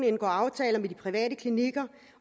indgår aftaler med de private klinikker